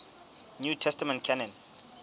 new testament canon